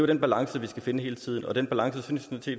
den balance vi skal finde hele tiden og den balance synes